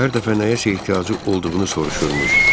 Frank hər dəfə nəyəsə ehtiyacı olduğunu soruşurmuş.